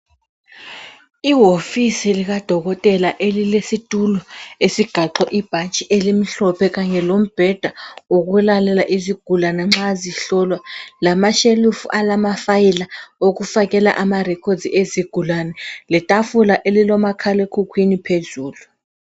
Ihofisi likadokotela elilesitulo esigaxwe ibhatshi elimhlophe kanye lombheda wokulalela izigulane nxa zihlolwa lamashelufu alamafayila okufakela amarecords ezigulane letafula elilomakhalekhukhwini phezulu.